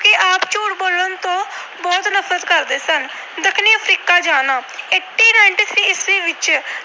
ਨਫਰਤ ਕਰਦੇ ਸਨ। ਦੱਖਣੀ Africa ਜਾਣਾ - ਅਠਾਰਾਂ ਸੌ ਤਰਾਨਵੇਂ ਈਸਵੀ ਵਿੱਚ